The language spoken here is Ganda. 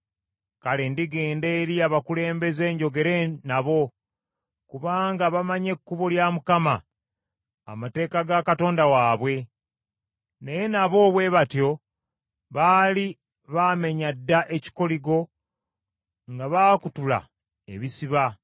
Kale ndigenda eri abakulembeze njogere nabo; Kubanga bamanyi ekkubo lya Mukama , amateeka ga Katonda waabwe.” Naye nabo bwe batyo baali baamenya dda ekikoligo nga baakutula ebisiba.